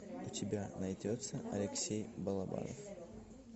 у тебя найдется алексей балабанов